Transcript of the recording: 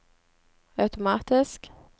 automatisk